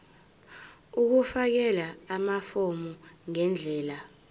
ukufakela amafomu ngendlela